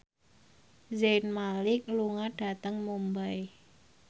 Zayn Malik lunga dhateng Mumbai